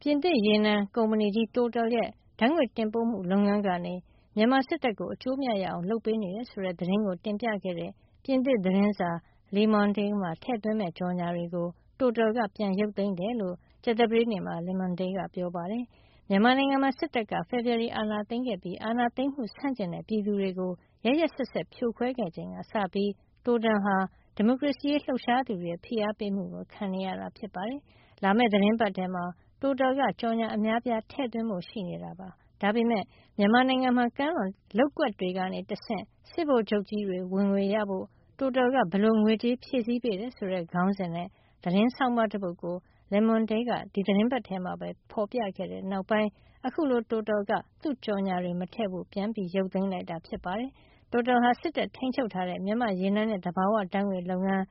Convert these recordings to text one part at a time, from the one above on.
ပြင်သစ်ရေနံကုမ္ပဏီကြီး Total ရဲ့ ဓာတ်ငွေ့တင်ပို့မှု လုပ်ငန်းကနေ မြန်မာစစ်တပ်ကို အကျိုးအမြတ်ရအောင် လုပ်ပေးနေတယ်ဆိုတဲ့ သတင်းကိုတင်ပြခဲ့တဲ့ ပြင်သစ်သတင်းစာ Le Monde မှာ ထည့်သွင်းမယ့် ကြော်ငြာတွေကို Total က ပြန်ရုပ်သိမ်းလိုက်တယ်လို့ ကြာသပတေးနေ့မှာ Le Monde က ပြောပါတယ်။ မြန်မာနိုင်ငံမှာ စစ်တပ်က ဖေဖေါ်ဝါရီလ အာဏာသိမ်းခဲ့ပြီး အာဏာသိမ်းမှု ဆန့်ကျင်တဲ့ ပြည်သူတွေကို ရက်ရက်စက်စက် ဖြိုခွဲခဲ့ချိန်ကစပြီး Total ဟာ ဒီမိုကရေစီရေး လှုပ်ရှားသူတွေရဲ့ ဖိအားပေးမှုကို ခံနေရတာ ဖြစ်ပါတယ်။ လာမယ့် သီတင်းပတ်ထဲမှာ Total က ကြော်ငြာအများအပြား ထည့်သွင်းဖို့ရှိနေတာပါ။ ဒါပေမယ့် မြန်မာနိုင်ငံမှာ ကမ်းလွန်လုပ်ကွက်တွေကနေ တဆင့် စစ်ဗိုလ်ချုပ်ကြီးတွေ ဝင်ငွေရဖို့ Total က ဘယ်လိုငွေကြေး ဖြည့်ဆည်းပေးတယ် - ဆိုတဲ့ ခေါင်းစဉ်နဲ့ သတင်းဆောင်းပါး တပုဒ်ကို Le Monde က ဒီသီတင်းပတ် ထဲမှာပဲ ဖေါ်ပြခဲ့တဲ့နောက်ပိုင်း အခုလို Total က သူ့ကြော်ငြာတွေ မထည့်ဖို့ ပြန်ရုတ်သိမ်းလိုက်တာ ဖြစ်ပါတယ်။ Total ဟာ စစ်တပ်ထိန်းချုပ်ထားတဲ့ မြန်မာ့ရေနံနဲ့ သဘာဝဓါတ်ငွေ့လုပ်ငန်း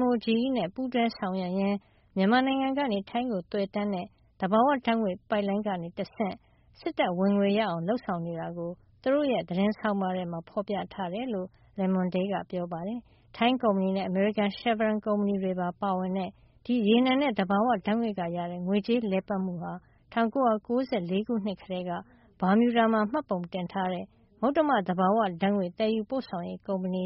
MOGE နဲ့ ပူးတွဲဆောင်ရွက်ရင်း မြန်မာနိုင်ငံကနေ ထိုင်းကို သွယ်တန်းတဲ့ သဘာဝဓါတ်ငွေ့ ပိုင်းလိုင်း ကနေတဆင့် စစ်တပ်ဝင်ငွေရအောင် လုပ်ဆောင်နေတာကို သူတို့ရဲ့ သတင်းဆောင်းပါးထဲမှာ ဖေါ်ပြထားတယ်လို့ Le Monde က ပြောပါတယ်။ ထိုင်းကုမ္ပဏီနဲ့ အမေရိကန် Chevron ကုမ္ပဏီတွေပါ ပါဝင်တဲ့ ဒီရေနံနဲ့ သဘာဝဓါတ်ငွေ့က ရတဲ့ ငွေကြေးလည်ပတ်မှုဟာ ၁၉၉၄ ခုနှစ်ကတည်းက Bermuda မှာ မှတ်ပုံတင်ထားတဲ့ မုတ္တမသဘာဝဓါတ်ငွေ့သယ်ယူပို့ဆောင်ရေးကုမ္ပဏီ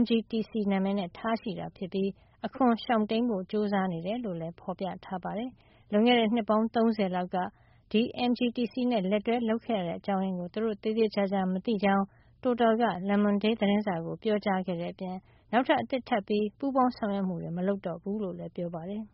MGTC နံမယ်နဲ့ ထားရှိပြီး အခွန်ရှောင်တိမ်း ဖို့ ကြိုးစားနေတာ လို့လည်း ဖေါ်ပြထားပါတယ်။ လွန်ခဲ့တဲ့ နှစ်ပေါင်း ၃၀ လောက်က ဒီ MGTC နဲ့ လက်တွဲလုပ်ခဲ့ရတဲ့ အကြောင်းရင်းကို သူတို့ သေသေချာချာ မသိကြောင်း Total က Le Monde သတင်းစာကို ပြောကြားခဲ့တဲ့အပြင် နောက်ထပ် အသစ်ထပ်ပြီး ပူးပေါင်းဆောင်ရွက်မှုတွေ မလုပ်တော့ဘူးလို့လည်း ပြောပါတယ်။